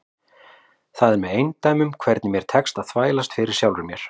Það er með eindæmum hvernig mér tekst að þvælast fyrir sjálfri mér.